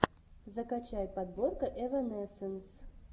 закачай подборка эванесенс